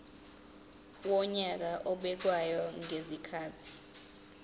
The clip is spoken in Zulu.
wonyaka obekwayo ngezikhathi